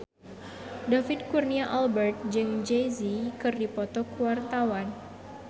David Kurnia Albert jeung Jay Z keur dipoto ku wartawan